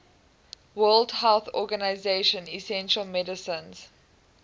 world health organization essential medicines